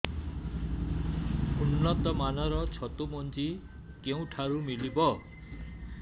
ଉନ୍ନତ ମାନର ଛତୁ ମଞ୍ଜି କେଉଁ ଠାରୁ ମିଳିବ